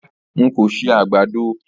Rárá, n kò ṣe àgbàdo.